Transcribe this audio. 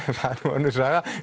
nú önnur saga